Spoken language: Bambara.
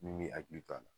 Min m'i hakili to a la